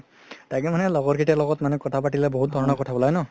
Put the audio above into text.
তাকেই মানে লগৰ কেইতাৰ লগত মানে কথা পাতিলে বহুত ধৰণৰ কথা উলাই ন